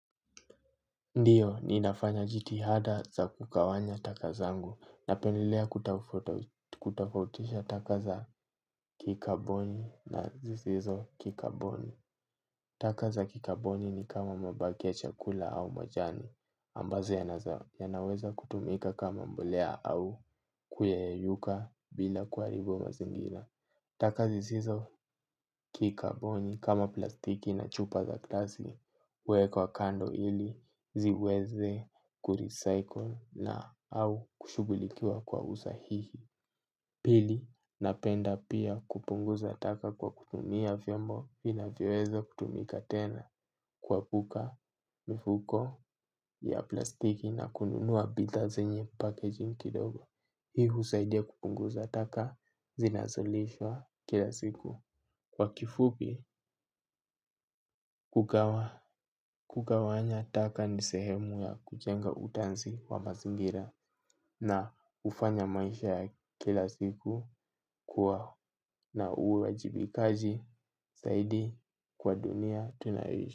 Ndio, ninafanya jitihada za kugawanya taka zangu napendelea kutofautisha taka za kikaboni na zisizo kikaboni. Taka za kikaboni ni kama mabaki ya chakula au majani ambazo yanaweza kutumika kama mbolea au kuyeyuka bila kuharibu mazingira. Taka zizizo kikaboni kama plastiki na chupa za glasi huwekwa kando ili ziweze kurecycle na au kushugulikiwa kwa usahihi. Pili, napenda pia kupunguza taka kwa kutumia vyombo inavyoweze kutumika tena kuepuka mfuko ya plastiki na kununua bidhaa zenye packaging kidogo. Hiu husaidia kupunguza taka zinazolishwa kila siku. Kwa kifupi, kugawanya taka ni sehemu ya kujenga utunzi wa mazingira. Na hufanya maisha ya kila siku kuwa na uwajibikaji zaidi kwa dunia tunayoishi.